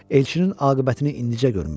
Elçinin aqibətini indicə görmüşdü.